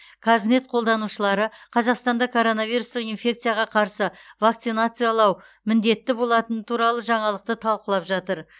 қазнет қолданушылары қазақстанда коронавирустық инфекцияға қарсы вакцинациялау міндетті болатыны туралы жаңалықты талқылап жатыр